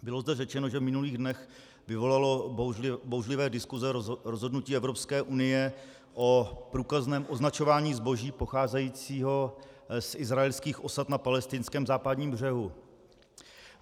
Bylo zde řečeno, že v minulých dnech vyvolalo bouřlivé diskuse rozhodnutí Evropské unie o průkazném označování zboží pocházejícího z izraelských osad na palestinském západním břehu.